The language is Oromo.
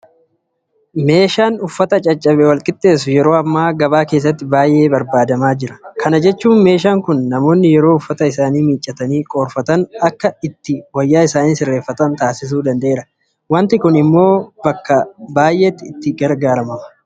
Meeshaan uffata caccabe walqixxeessu yeroo ammaa gabaa keessatti baay'ee barbaadamaa jira. Kana jechuun meeshaan kun namoonni yeroo uffata isaanii miiccatanii qoorfatan akka ittiin wayyaa isaanii sirreeffatan taasisuu danda'eera. Waanti kun immoo bakka baay'eetti barbaadamaadha.